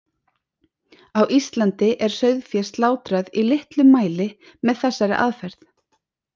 Á Íslandi er sauðfé slátrað í litlum mæli með þessari aðferð.